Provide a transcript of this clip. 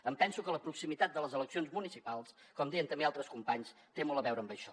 em penso que la proximitat de les eleccions municipals com deien també altres companys té molt a veure amb això